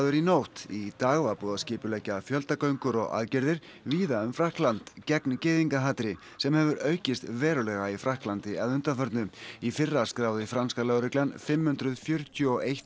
í nótt í dag var búið að skipuleggja fjöldagöngur og aðgerðir víða um Frakkland gegn gyðingahatri sem hefur aukist verulega í Frakklandi að undanförnu í fyrra skráði franska lögreglan fimm hundruð fjörutíu og eitt